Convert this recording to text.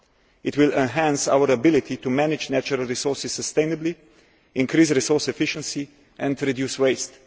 It will enhance our ability to manage natural resources sustainably, increase resource efficiency and reduce waste.